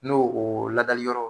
N'o o ladali yɔrɔ